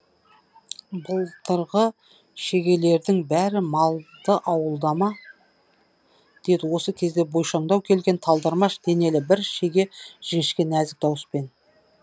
былтырғы шегелердің бәрі малды ауылда ма деді осы кезде бойшаңдау келген талдырмаш денелі бір шеге жіңішке нәзік дауыспен